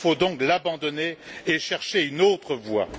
Il faut donc l'abandonner et chercher une autre voie.